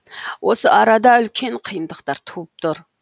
осы арада үлкен қиындықтар туып тұр